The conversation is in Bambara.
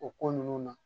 O ko ninnu na